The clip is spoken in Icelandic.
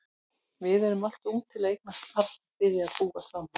Við erum alltof ung til að eignast barn og byrja að búa saman.